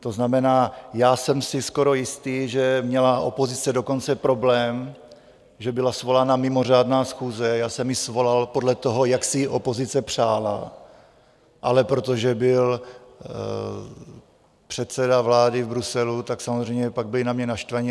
To znamená, já jsem si skoro jistý, že měla opozice dokonce problém, že byla svolána mimořádná schůze - já jsem ji svolal podle toho, jak si ji opozice přála, ale protože byl předseda vlády v Bruselu, tak samozřejmě pak byli na mě naštvaní.